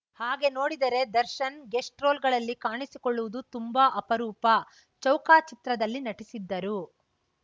ಹಾಗೆ ನೋಡಿದರೆ ದರ್ಶನ್‌ ಗೆಸ್ಟ್‌ ರೋಲ್‌ಗಳಲ್ಲಿ ಕಾಣಿಸಿಕೊಳ್ಳುವುದು ತುಂಬಾ ಅಪರೂಪ ಚೌಕ ಚಿತ್ರದಲ್ಲಿ ನಟಿಸಿದ್ದರು